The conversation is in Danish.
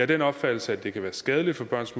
den opfattelse at det kan være skadeligt for børns